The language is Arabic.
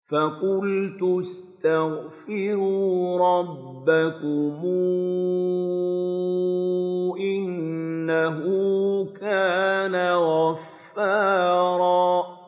فَقُلْتُ اسْتَغْفِرُوا رَبَّكُمْ إِنَّهُ كَانَ غَفَّارًا